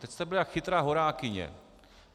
Teď jste byl jako chytrá horákyně.